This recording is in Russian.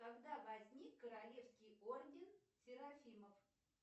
когда возник королевский орден серафимов